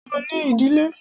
Ṣo ní ìdílé?